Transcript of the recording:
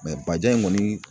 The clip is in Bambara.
bajan in kɔni